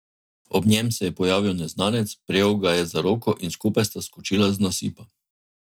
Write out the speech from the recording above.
Ob njem se je pojavil Neznanec, prijel ga je za roko in skupaj sta skočila z nasipa.